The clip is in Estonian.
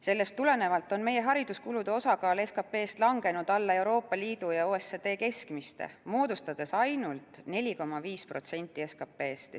Sellest tulenevalt on meie hariduskulude osakaal SKP-s langenud alla Euroopa Liidu ja OECD keskmiste, moodustades ainult 4,5% SKP-st.